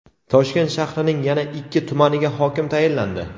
Toshkent shahrining yana ikki tumaniga hokim tayinlandi.